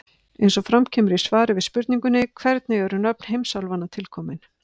Eins og fram kemur í svari við spurningunni Hvernig eru nöfn heimsálfanna til komin?